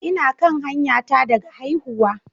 Ina kan hanyata daga haihuwa